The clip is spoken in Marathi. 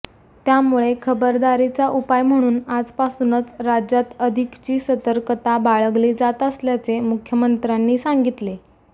त्यामुळे खबरदारीचा उपाय म्हणून आजपासूनच राज्यात अधिकची सतर्कता बाळगली जात असल्याचे मुख्यमंत्र्यांनी सांगितले